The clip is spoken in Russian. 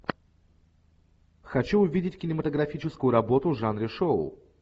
хочу увидеть кинематографическую работу в жанре шоу